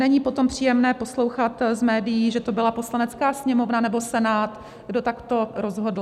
Není potom příjemné poslouchat z médií, že to byla Poslanecká sněmovna nebo Senát, kdo takto rozhodl.